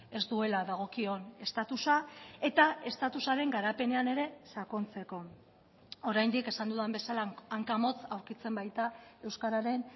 ez duela dagokion estatusa eta estatusaren garapenean ere sakontzeko oraindik esan dudan bezala hankamotz aurkitzen baita euskararen